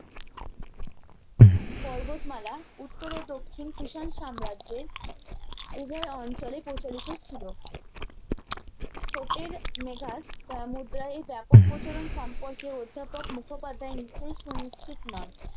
পর্বতমালা উত্তর ও দক্ষিণ কুষাণ সাম্রাজ্যের উভয়ে অঞ্চলে প্রচারিত ছিলো তা মুদ্রায় ব্যাপক প্রচারন সম্পর্কে অধ্যাপক মুখোপাধ্যায় নিচ্ছয়ই সুনিচ্ছিত নন